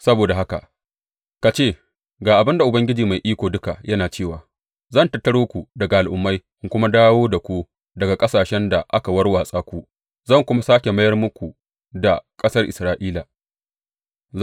Saboda haka, ka ce, Ga abin da Ubangiji Mai Iko Duka yana cewa zan tattaro ku daga al’ummai in kuma dawo da ku daga ƙasashen da aka warwatsa ku, zan kuwa sāke mayar muku da ƙasar Isra’ila.’